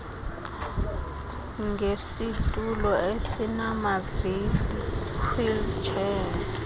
ngesitulo esinamavili wheelchair